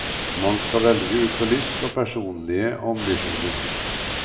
Man skal velge ut fra lyst og personlige ambisjoner.